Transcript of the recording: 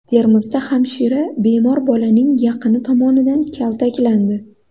Termizda hamshira bemor bolaning yaqini tomonidan kaltaklandi .